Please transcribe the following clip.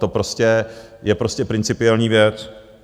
To je prostě principiální věc.